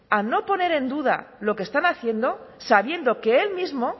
a no poner en duda lo que están haciendo sabiendo que él mismo